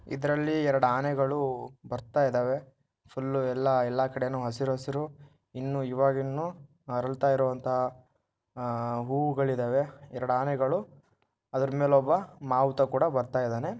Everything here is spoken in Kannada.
ಇದರಲ್ಲಿ ಎರಡು ಆನೆಗಳು ಬರ್ತಾ ಇದಾವೆ ಫುಲ್ ಎಲ್ಲಾ ಎಲ್ಲಾ ಕಡೆನೂ ಹಸಿರು ಹಸಿರು ಇನ್ನು ಇವಾಗಿನ್ನು ಅರಳುತಾ ಇರುವಂತಹ ಹೂಗಳಿದವೆ ಎರಡು ಆನೆಗಳು ಅದರ ಮೇಲೊಬ್ಬ ಮಾವುತ ಕೂಡ ಬರ್ತಾ ಇದಾನೆ.